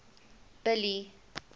billy